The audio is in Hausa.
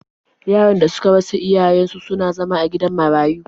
Yaran da suka rasa iyayen su suna zama a gidan marayu.